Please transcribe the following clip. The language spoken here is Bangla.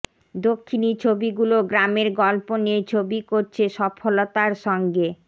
দক্ষিণি ছবিগুলো গ্রামের গল্প নিয়ে ছবি করছে সফলতার সঙ্গে